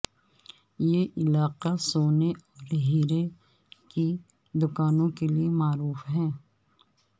یہ علاقہ سونے اور ہیرے کی دکانوں کے لیے معروف ہے